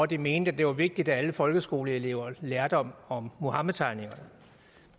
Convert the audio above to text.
de mente det var vigtigt at alle folkeskoleelever lærte om om muhammedtegningerne